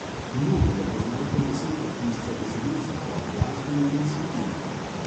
Mnogi ga poznajo predvsem kot pisca besedil za pop glasbenike in skupine.